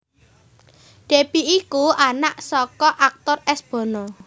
Deby iku anak saka aktor S Bono